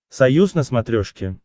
союз на смотрешке